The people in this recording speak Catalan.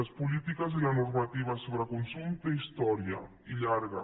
les polítiques i la normativa sobre consum tenen història i llarga